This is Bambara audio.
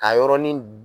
Ka yɔrɔnin